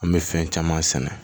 An bɛ fɛn caman sɛnɛ